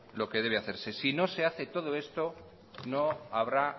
lo que debe hacerse si no se hace todo esto no habrá